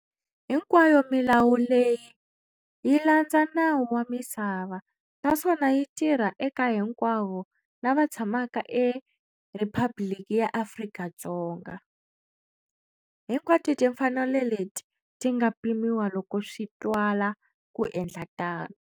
Hinkwayo milawu leyi yi landza nawu wa misava, naswon yi tirha eka hinkwavo lava tshamaka e Rhiphabliki ya Afrika-Dzonga. Hinkwato timfanelo leti ti nga pimiwa loko swi twala ku endla tano.